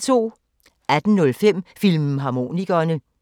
18:05: Filmharmonikerne 02:03: Danmark Live *